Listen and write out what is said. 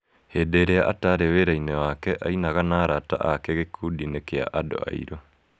Hĩndĩ ĩrĩa ataarĩ wĩra-inĩ wake, ainaga na arata ake gĩkundi-inĩ kĩa andũ airũ.